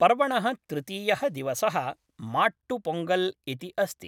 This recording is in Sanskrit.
पर्वणः तृतीयः दिवसः माट्टु पोङ्गल् इति अस्ति।